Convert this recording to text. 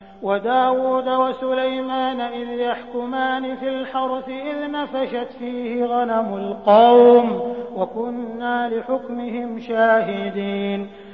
وَدَاوُودَ وَسُلَيْمَانَ إِذْ يَحْكُمَانِ فِي الْحَرْثِ إِذْ نَفَشَتْ فِيهِ غَنَمُ الْقَوْمِ وَكُنَّا لِحُكْمِهِمْ شَاهِدِينَ